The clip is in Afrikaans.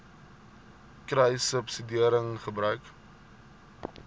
kruissubsidiëringgebruik